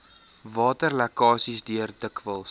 waterlekkasies deur dikwels